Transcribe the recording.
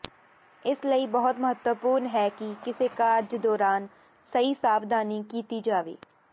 ਇਸ ਲਈ ਬਹੁਤ ਮਹੱਤਵਪੂਰਨ ਹੈ ਕਿ ਕਿਸੇ ਕਾਰਜ ਦੌਰਾਨ ਸਹੀ ਸਾਵਧਾਨੀ ਕੀਤੀ ਜਾਵੇ